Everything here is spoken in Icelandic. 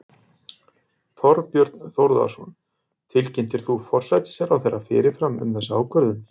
Þorbjörn Þórðarson: Tilkynntir þú forsætisráðherra fyrirfram um þessa ákvörðun?